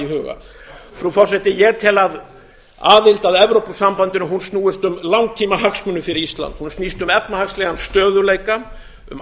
huga frú forseti ég tel að aðild að evrópusambandinu snúist um langtímahagsmuni fyrir ísland hún snýst um efnahagslegan stöðugleika um